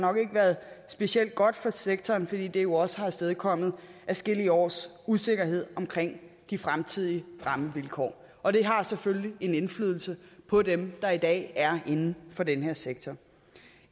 været specielt godt for sektoren fordi det jo også har afstedkommet adskillige års usikkerhed om de fremtidige rammevilkår og det har selvfølgelig en indflydelse på dem der i dag er inden for den her sektor